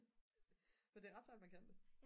men det er ret sejt man kan det